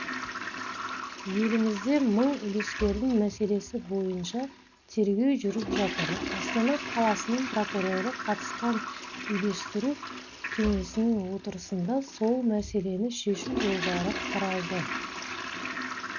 елімізде мың үлескердің мәселесі бойынша тергеу жүріп жатыр астана қаласының прокуроры қатысқан үйлестіру кеңесінің отырысында сол мәселені шешу жолдары қаралды